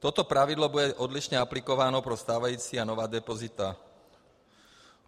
Toto pravidlo bude odlišně aplikováno pro stávající a nová depozita.